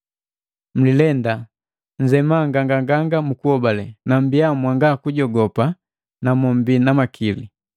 Mlilenda, nnzema nganganganga mukuobale, na mmbiya mwanga kujogopa na mombi na makili.